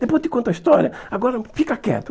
Depois eu te conto a história, agora fica quieto.